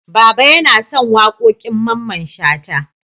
Baba yana son waƙoƙin Mamman Shata.